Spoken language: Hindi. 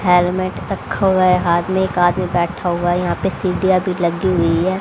हेलमेट रखा हुआ है हाथ में एक आदमी बैठा हुआ है यहां पे सीढ़ियां भी लगी हुई है।